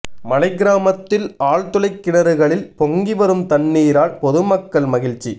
மலைக் கிராமத்தில் ஆழ்துளைக் கிணறுகளில் பொங்கி வரும் தண்ணீரால் பொதுமக்கள் மகிழ்ச்சி